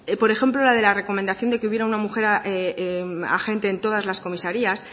por ejemplo la de la recomendación de que hubiera una mujer agente en todas las comisarias